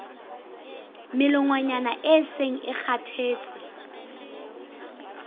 melongwana e seng e kgathetse